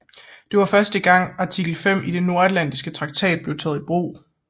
Det var første gang artikel 5 i den Nordatlantiske Traktat blev taget i brug